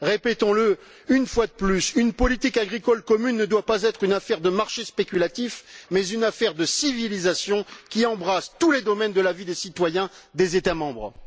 Répétons le une fois de plus, une politique agricole commune ne doit pas être une affaire de marché spéculatif mais une affaire de civilisation qui embrasse tous les domaines de la vie des citoyens des États membres.